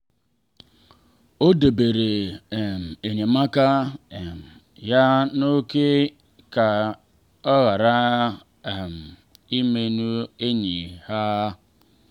o debere um enyemaka um ya n’ókè ka ọ ghara um imerụ enyi ha.